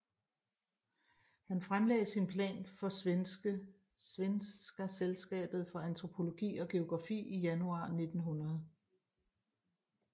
Han fremlagde sin plan for Svenska Sällskapet för Antropologi och Geografi i januar 1900